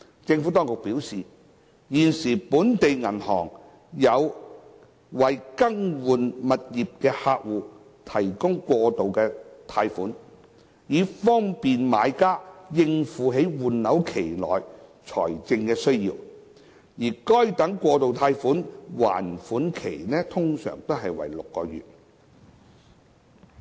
政府當局表示，現時本地銀行有為更換物業的客戶提供過渡貸款，以方便買家應付在換樓期內的財政需要，而該等過渡貸款的還款期通常為6個月。